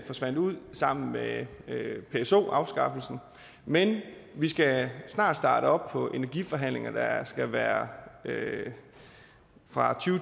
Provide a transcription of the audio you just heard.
forsvandt ud sammen med pso afskaffelsen men vi skal snart starte op på energiforhandlinger der skal være fra to